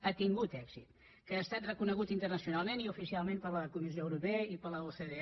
ha tingut èxit que ha estat reconegut internacionalment i oficialment per la comissió europea i per l’ocde